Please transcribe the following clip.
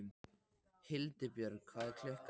Hildibjörg, hvað er klukkan?